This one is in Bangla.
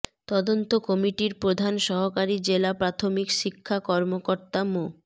তদন্ত কমিটির প্রধান সহকারী জেলা প্রাথমিক শিক্ষা কর্মকর্তা মো